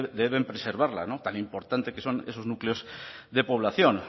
deben preservarla tan importantes que son esos núcleos de población